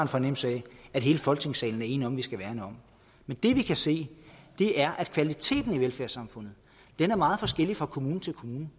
fornemmelse af at hele folketingssalen er enig om vi skal værne om det vi kan se er at kvaliteten i velfærdssamfundet er meget forskellig fra kommune til kommune